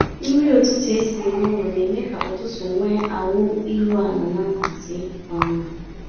Nrí ụ̀tụtụ̀ ésìrí n'ụ́lọ̀ ná-èmé kà ụ̀tụtụ̀ nwéé ahụ̀ írù àlà ná nhàzị́. um